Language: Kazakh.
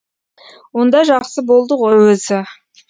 онда жақсы болды ғой өзі